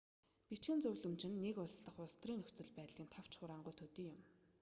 бичгэн зөвлөмж нь нэг улс дахь улс төрийн нөхцөл байдлын товч хураангуй төдий юм